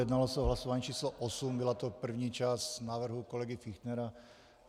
Jednalo se o hlasování číslo 8, byla to první část návrhu kolegy Fichtnera.